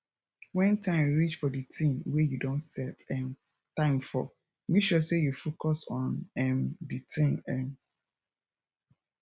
when time reach for di thing wey you don set um time for make sure sey you focus on um di thing um